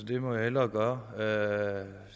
det må jeg hellere gøre